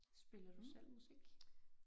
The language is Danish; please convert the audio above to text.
Spiller du selv musik?